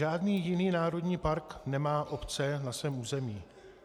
Žádný jiný národní park nemá obce na svém území.